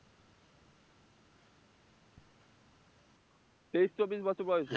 তেইশ, চব্বিশ বছর বয়সে